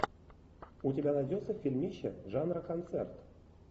у тебя найдется фильмище жанра концерт